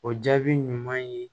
O jaabi ɲuman ye